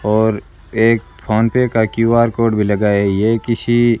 और एक फोनपे का क्यू_आर कोड भी लगा है ये किसी --